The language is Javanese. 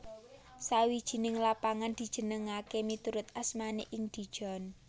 Sawijing lapangan dijenengaké miturut asmané ing Dijon